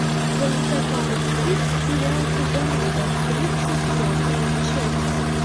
в твоем каталоге есть сериал казанова тридцать пятая часть